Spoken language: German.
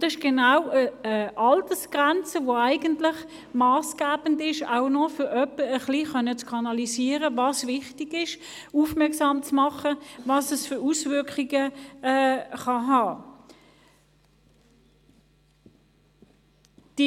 Dabei handelt es sich um eine Altersgrenze, die auch massgebend dafür ist, zu kanalisieren, was wichtig ist und darauf aufmerksam zu machen, welche Auswirkungen damit verbunden sind.